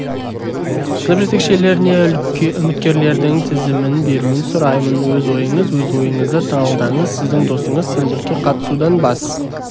сынып жетекшілеріне үміткерлердің тізімін беруін сұраймын өз ойыңыз өз ойыңызды талдаңыз сіздің досыңыз сенбілікке қатысудан бас